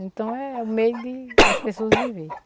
Então é o meio de as pessoas viver.